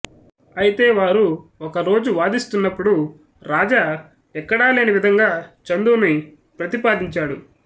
అయితే వారు ఒక రోజు వాదిస్తున్నప్పుడు రాజా ఎక్కడా లేని విధంగా చందును ప్రతిపాదించాడు